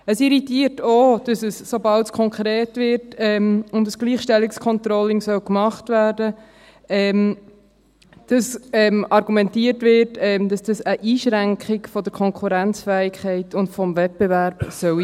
Es irritiert auch, dass sobald es konkret wird und ein Gleichstellungscontrolling gemacht werden soll, argumentiert wird, dass es sich um eine Einschränkung der Konkurrenzfähigkeit und des Wettbewerbs handelt.